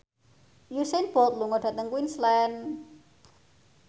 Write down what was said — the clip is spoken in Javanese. Usain Bolt lunga dhateng Queensland